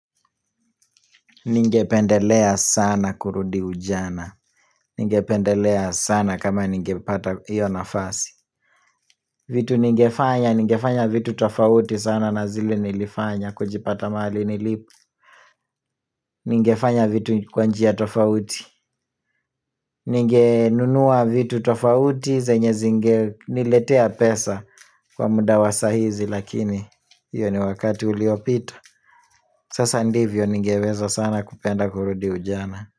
Ningependelea sana kurudi ujana Ningependelea sana kama ningepata iyo nafasi vitu ningefanya, ningefanya vitu tofauti sana na zile nilifanya kujipata mali nilipo Ningefanya vitu kwanjia tofauti Ningenunua vitu tofauti zenye zinge niletea pesa kwa muda wasa ahizi lakini Iyo ni wakati uliopito Sasa ndivyo ningeweza sana kupenda kurudi ujana.